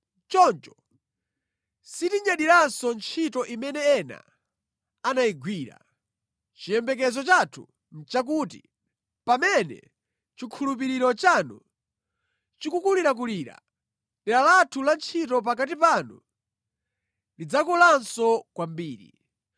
Choncho sitinyadiranso ntchito imene ena anayigwira. Chiyembekezo chathu nʼchakuti, pamene chikhulupiriro chanu chikukulirakulira, dera lathu la ntchito pakati panu lidzakulanso kwambiri,